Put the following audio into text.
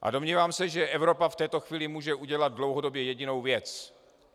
A domnívám se, že Evropa v této chvíli může udělat dlouhodobě jedinou věc.